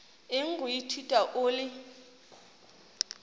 eng go ithuta o le